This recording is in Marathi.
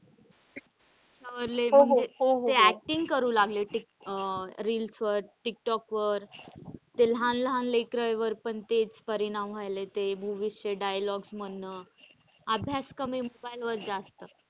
त्यावर लय म्हणजे ते acting करू लागले अह reels वर टिक टौक वर ते लहान लहान लेकरांवर पण तेच परिणाम व्हायला लागलेत ते movies च्या dialogues मधनं अभ्यास कमी mobile. वर जास्त.